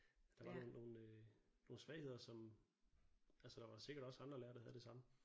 Der var nogen nogen øh nogen svagheder som altså der var sikkert også andre lærere der havde det samme